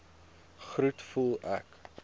groet voel ek